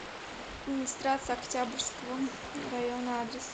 администрация октябрьского района адрес